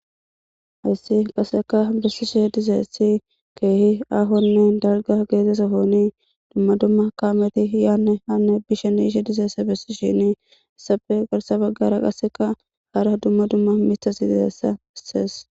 Hayssi qasseka bessishe dizeessi keehi ahonne dalga geezesa hooni dumma dumma kaameti iyaanne hanne bisheniishe dizeesa bessi shinii issafe garsa baggara qasseka haara dumma dumma mitasi dizeessa bisees.